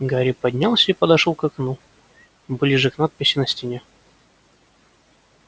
гарри поднялся и подошёл к окну ближе к надписи на стене